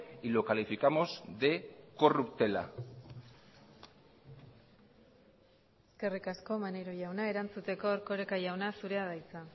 y lo calificamos de corruptela eskerrik asko maneiro jauna erantzuteko erkoreka jauna zurea da hitza